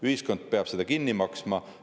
Ühiskond peab selle kinni maksma.